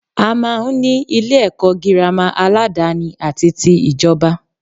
A máa n ní Ilé èkó girama aládani àti tí ìjoba